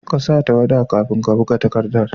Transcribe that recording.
ƙasa tawwada kafin ka buga takaddar